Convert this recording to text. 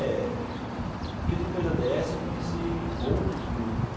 É, porque depois da dê esse eu conheci outros grupos.